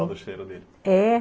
do cheiro dele. É!